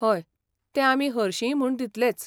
हय, ते आमी हरशींय म्हूण दितलेच.